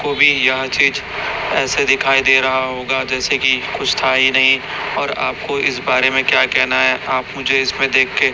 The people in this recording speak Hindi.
को भी यह चीज ऐसे दिखाई दे रहा होगा जैसे कि कुछ था ही नहीं और आपको इस बारे में क्या कहना है आप मुझे इसमें देख के--